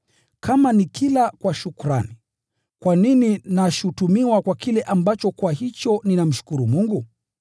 Kama nikila kwa shukrani, kwa nini nashutumiwa kwa kile ambacho kwa hicho ninamshukuru Mungu?